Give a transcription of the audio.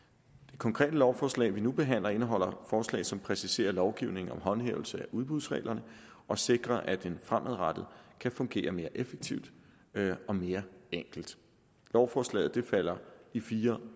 det konkrete lovforslag vi nu behandler indeholder forslag som præciserer lovgivningen om håndhævelse af udbudsreglerne og sikrer at den fremadrettet kan fungere mere effektivt og mere enkelt lovforslaget falder i fire